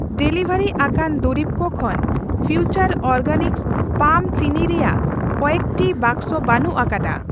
Delivery ᱟᱠᱟᱱ ᱫᱩᱨᱤᱵᱠᱚ ᱠᱷᱚᱱ ᱯᱷᱤᱣᱪᱟᱨ ᱚᱨᱜᱮᱱᱤᱠᱥ ᱯᱟᱢ ᱪᱤᱱᱤ ᱨᱮᱭᱟᱜ ᱠᱚᱭᱮᱠᱴᱤ ᱵᱟᱠᱥᱚ ᱵᱟᱹᱱᱩᱜ ᱟᱠᱟᱫᱟ ᱾